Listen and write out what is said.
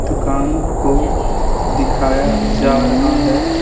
दुकान को दिखाया जा रहा है।